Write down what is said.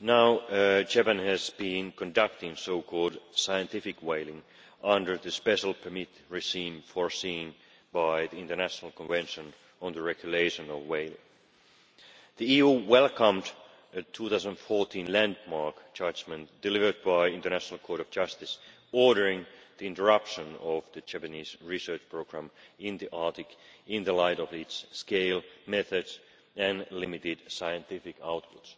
now Japan has been conducting so called scientific whaling under the special permit provided under the International Convention on the Regulation of Whaling. The EU welcomed the 2014 landmark judgment delivered by the International Court of Justice ordering the interruption of the Japanese research programme in the Arctic, in the light of its scale, methods and limited scientific output.